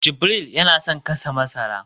jibril yana son gasa masara